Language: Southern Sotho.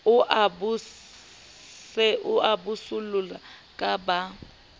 o a bososela ka ba